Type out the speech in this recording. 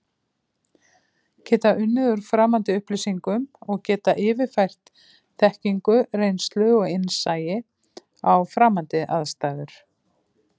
Geta unnið úr framandi upplýsingum og geta yfirfært þekkingu, reynslu og innsæi á framandi aðstæður.